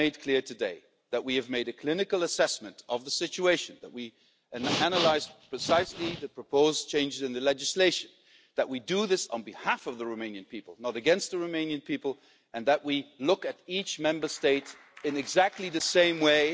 I have made clear today that we have made a clinical assessment of the situation that we have analysed precisely the proposed changes in the legislation, that we are doing this on behalf of the Romanian people, not against the Romanian people, and that we look at each and every Member State in exactly the same way.